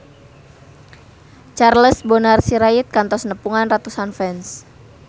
Charles Bonar Sirait kantos nepungan ratusan fans